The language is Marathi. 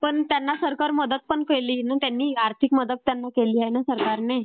पण सरकार त्यांना मदत पण केली ना. त्यांना आर्थिक मदत पण केली आहे ना सरकारने.